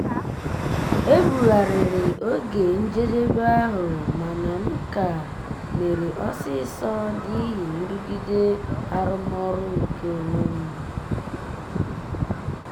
ebugharịrị oge njedebe ahụ mana m ka mere ọsịsọ n'ihi nrụgide arụmọrụ nke onwe m.